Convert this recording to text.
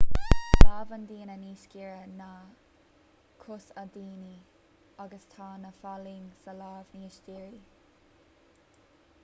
tá lámh an duine níos giorra ná cos an duine agus tá na falaing sa lámh níos dírí